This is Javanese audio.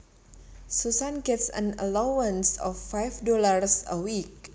Susan gets an allowance of five dollars a week